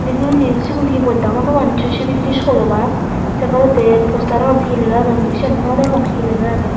bidereydi sigun he bojta hor no pang neso sebideredi dol obak se poredi poste ranot he lega agge mui sean no degong he lega agge.